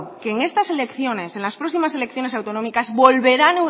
que en estas elecciones en las próximas elecciones autonómicas volverán